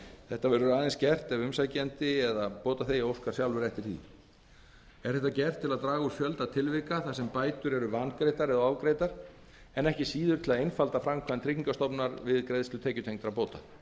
þetta verður aðeins gert ef umsækjandi eða bótaþegi óskar sjálfur eftir því er þetta gert til að draga úr fjölda tilvika þar sem bætur eru vangreiddar eða ofgreiddar en ekki síður til að einfalda framkvæmd tryggingastofnunar við greiðslu tekjutengdra bóta